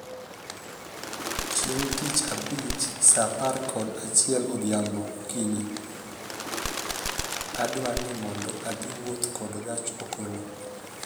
Chieng' tich abich saa apar kod achiel odhiambo okinyi, adwani mondo adhi wuoth kod gach okolo